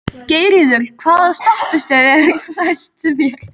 Geirríður, hvaða stoppistöð er næst mér?